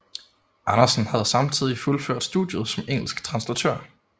Andersen havde samtidig fuldført studiet som engelsk translatør